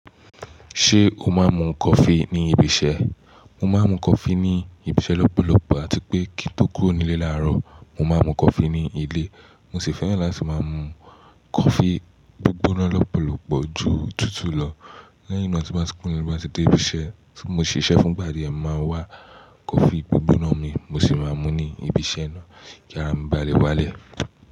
Ṣé o máa ń mu coffee ní ibi iṣẹ́? Mo máa ń mu coffee ní ibi iṣẹ́ lọ́pọ̀lọpọ̀ àti pé kí n tó kúrò nílé láàárọ̀, mo máa mu coffee ní ilé. Mo sì fẹ́ràn láti máa mu coffee gbígbóná lọ́pọ̀lọpọ̀ ju tútù lọ. Lẹ́yìn náà, tí mo bá ti kúrò nílé bá ti dé ibi iṣẹ́ tí mo ṣiṣẹ́ fún, ìgbà díẹ̀ máa wá coffee gbígbóná mi, mo sì máa mú ní ibi iṣẹ́ náà kí a lè bá lè wálẹ̀.